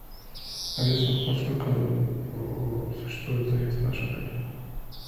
алиса во сколько существует заезд в наш отель